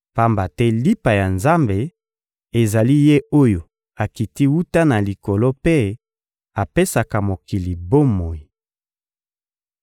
Pamba te lipa ya Nzambe ezali Ye oyo akiti wuta na Likolo mpe apesaka mokili bomoi.